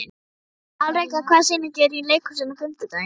Alrekur, hvaða sýningar eru í leikhúsinu á fimmtudaginn?